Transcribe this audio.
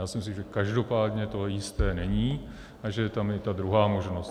Já si myslím, že každopádně to jisté není a že je tam i ta druhá možnost.